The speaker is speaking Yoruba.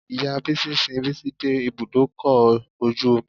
Ìya Bísí sin Bísí dé ibùdókọ̀ ojú omi.